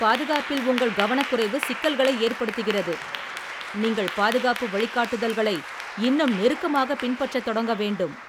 பாதுகாப்பில் உங்கள் கவனக்குறைவு சிக்கல்களை ஏற்படுத்துகிறது, நீங்கள் பாதுகாப்பு வழிகாட்டுதல்களை இன்னும் நெருக்கமாகப் பின்பற்றத் தொடங்க வேண்டும்.